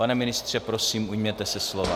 Pane ministře, prosím, ujměte se slova.